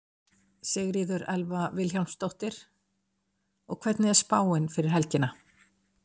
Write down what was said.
Sigríður Elva Vilhjálmsdóttir: Og hvernig er spáin fyrir helgina?